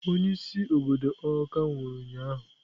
onye-isi obodo awka nwuru ụnyahụ.